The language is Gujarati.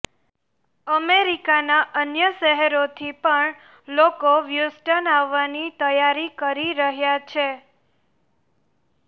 અમેરિકાનાં અન્ય શહેરોથી પણ લોકો હ્યુસ્ટન આવવાની તૈયારી કરી રહ્યા છે